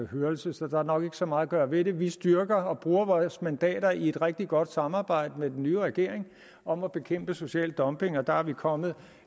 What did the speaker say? hørelse så der er nok ikke så meget at gøre ved det vi styrker og bruger vores mandater i et rigtig godt samarbejde med den nye regering om at bekæmpe social dumping og der er vi kommet